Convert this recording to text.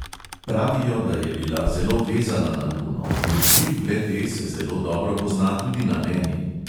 Pravijo, da je bila zelo vezana na luno in vpliv le-te se zelo dobro pozna tudi na meni.